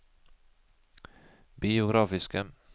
biografiske